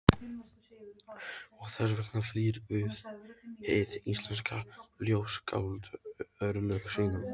Og þess vegna flýr hið íslenska ljóðskáld örlög sín.